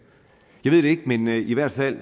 jeg ved det ikke men i hvert fald